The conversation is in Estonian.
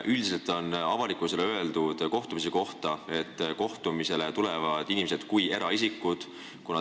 Üldiselt on avalikkusele selle kohtumise kohta öeldud, et sinna tulevad inimesed eraisikutena.